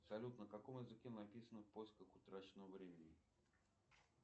салют на каком языке написано в поисках утраченного времени